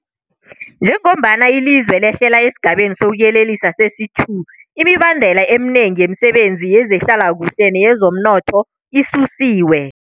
Njengombana ilizwe lehlela esiGabeni sokuYelela sesi-2, imibandela eminengi yemisebenzi yezehlalakuhle neyezomnotho isusiwe.